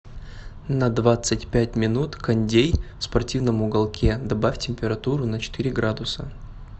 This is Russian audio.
на двадцать пять минут кондей в спортивном уголке добавь температуру на четыре градуса